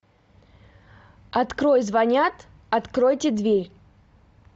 открой звонят откройте дверь